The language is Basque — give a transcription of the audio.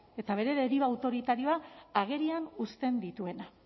eta bere deriba autoritarioa agerian uzten dituena